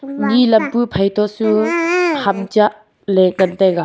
nyi lap pu phai to su ham cha le ngan taiga.